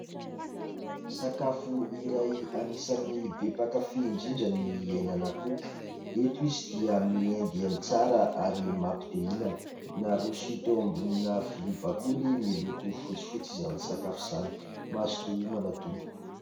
Sakafo iray anisany be mpankafỳ indrindra ny henan'akoho. Eto izy dia miendiendy tsara ary mampite hihinana. Naroso teo ambonina vilia bakoly miloko fotsifotsy izany sakafo izany. Mazotoa homana tompoko.